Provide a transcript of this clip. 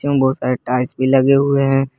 बहुत सारे टाइल्स भी लगे हुए है।